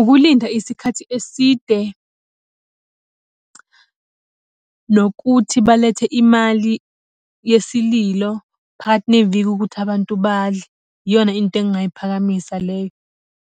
Ukulinda isikhathi eside, nokuthi balethe imali yesililo phakathi neviki ukuthi abantu badle. Iyona into engingayiphakamisa leyo.